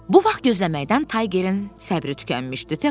Bu vaxt gözləməkdən Taygerin səbri tükənmişdi, tək qalmışdı.